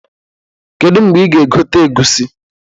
Kedu mgbe ị ga-egote egusi?